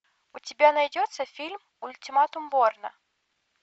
у тебя найдется фильм ультиматум борна